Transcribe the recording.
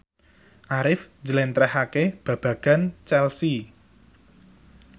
Arif njlentrehake babagan Chelsea